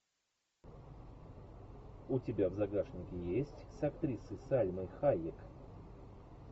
у тебя в загашнике есть с актрисой сальмой хайек